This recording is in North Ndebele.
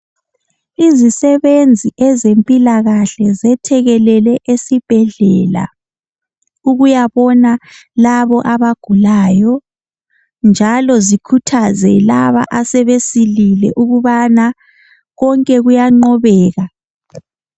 Izisebenzi ezempilakahle zethekelele esibhedlela ukuya bona labo abagulayo njalo zikhuthaze laba asebesilile ukubana konke kuyanqobeka.